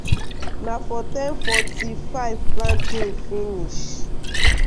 na for ten forty-five planting finish.